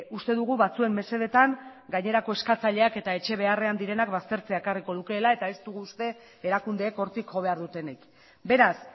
uste dugu batzuen mesedetan gainerako eskatzaileak eta etxe beharrean direnak baztertzea ekarriko lukeela eta ez dugu uste erakundeek hortik jo behar dutenik beraz